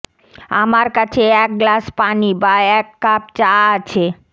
আমার কাছে এক গ্লাস পানি বা এক কাপ চা আছে